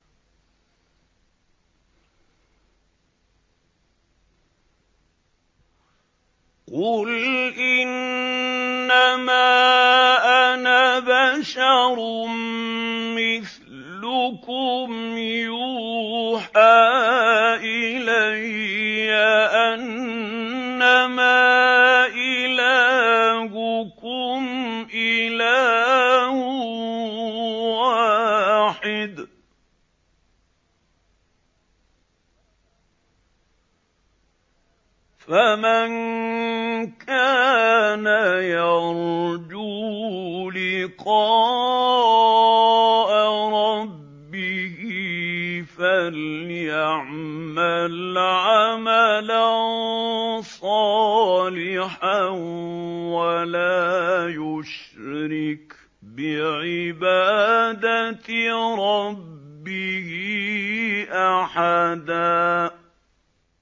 قُلْ إِنَّمَا أَنَا بَشَرٌ مِّثْلُكُمْ يُوحَىٰ إِلَيَّ أَنَّمَا إِلَٰهُكُمْ إِلَٰهٌ وَاحِدٌ ۖ فَمَن كَانَ يَرْجُو لِقَاءَ رَبِّهِ فَلْيَعْمَلْ عَمَلًا صَالِحًا وَلَا يُشْرِكْ بِعِبَادَةِ رَبِّهِ أَحَدًا